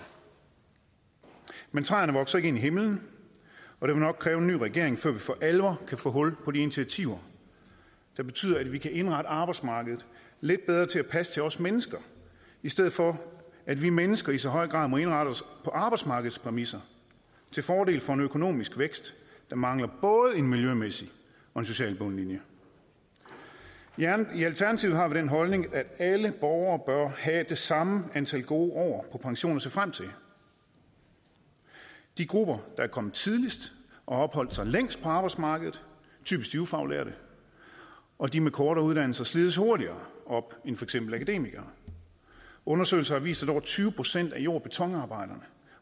men træerne vokser ikke ind i himlen og det vil nok kræve en ny regering før vi for alvor kan få hul på de initiativer der betyder at vi kan indrette arbejdsmarkedet lidt bedre til at passe til os mennesker i stedet for at vi mennesker i så høj grad må indrette os på arbejdsmarkedets præmisser til fordel for en økonomisk vækst der mangler både en miljømæssig og en social bundlinje i alternativet har vi den holdning at alle borgere bør have det samme antal gode år på pension at se frem til de grupper der er kommet tidligst og har opholdt sig længst på arbejdsmarkedet typisk de ufaglærte og de med kortere uddannelse slides hurtigere op end for eksempel akademikere undersøgelser har vist at over tyve procent af jord og betonarbejdere